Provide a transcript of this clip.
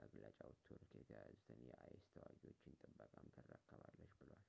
መግለጫው ቱርክ የተያዙትን የአይ ኤስ ተዋጊዎችን ጥበቃም ትረከባለች ብሏል